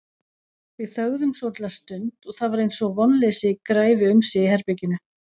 Við þögðum svolitla stund og það var eins og vonleysi græfi um sig í herberginu.